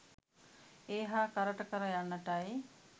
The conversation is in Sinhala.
ඒ හා කරට කර යන්නටයි